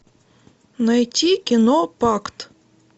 найти кино пакт